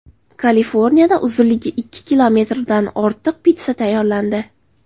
Kaliforniyada uzunligi ikki kilometrdan ortiq pitssa tayyorlandi.